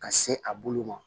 Ka se a bulu ma